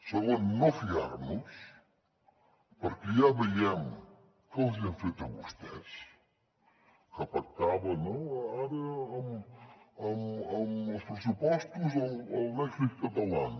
segon no fiar nos perquè ja veiem què els hi han fet a vostès que pactaven no ara amb els pressupostos el dèficit catalán